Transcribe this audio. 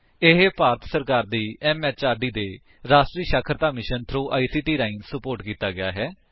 ਇਹ ਭਾਰਤ ਸਰਕਾਰ ਦੀ ਐਮਐਚਆਰਡੀ ਦੇ ਰਾਸ਼ਟਰੀ ਸਾਖਰਤਾ ਮਿਸ਼ਨ ਥ੍ਰੋ ਆਈਸੀਟੀ ਰਾਹੀਂ ਸੁਪੋਰਟ ਕੀਤਾ ਗਿਆ ਹੈ